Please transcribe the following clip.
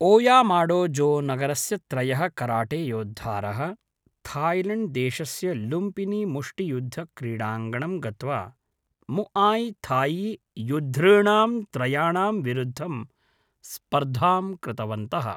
ओयामाडोजोनगरस्य त्रयः कराटेयोद्धारः थाईलेण्ड्देशस्य लुम्पिनीमुष्टियुद्धक्रीडाङ्गणं गत्वा, मुआय् थाई युद्धॄणां त्रयाणां विरुद्धं स्पर्धां कृतवन्तः।